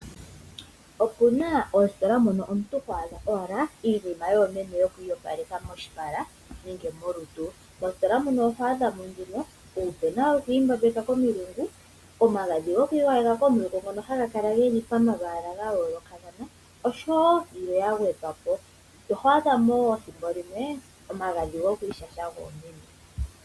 Opuna oositola mono omuntu go adha owala iinima yoomeme yoku iyopaleka moshipala nenge molutu. Mositola muno oho adha mo nduno oopena dhoku imbembeka komilungu, omagadhi goku igwayeka komilungu ngono haga kala pomalwaala ga yoolokathana, oshowo yilwe ya gwedhwa po. Oho adha mo wo ethimbo limwe omagadhi goku ishasha goomeme.